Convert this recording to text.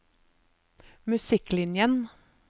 musikklinjen